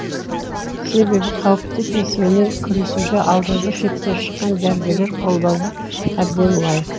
себебі қауіпті кеселмен күресуде алдыңғы шепте шыққан дәрігерлер қолдауға әбден лайық